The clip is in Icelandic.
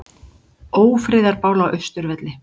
Ófriðarbál á Austurvelli